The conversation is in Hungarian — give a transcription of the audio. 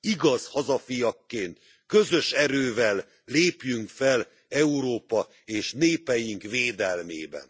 Igaz hazafiakként közös erővel lépjünk fel Európa és népeink védelmében!